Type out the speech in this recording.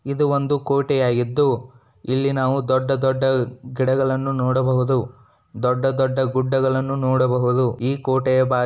ಇದು ಒಂದು ಕೊಟೆ ಆಗಿದ್ದು ಇಲ್ಲಿ ನಾವು ದೊಡ್ಡ ದೊಡ್ಡ ಗಿಡಗಳನ್ನು ನೋಡಬಹುದು ದೊಡ್ಡ ದೊಡ್ಡ ಗುಡ್ಡಗಳನ್ನು ನೋಡಬಹುದು ಈ ಕೋಟೆಯ--